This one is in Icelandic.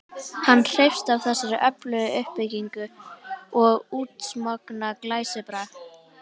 Hann hreifst af þessari öflugu uppbyggingu og útsmogna glæsibrag.